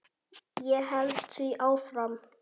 Ég held því áfram.